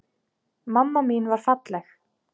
Mamma mín var falleg.